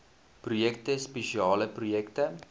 projekte spesiale projekte